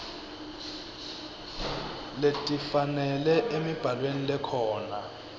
letifanele emibhalweni lekhona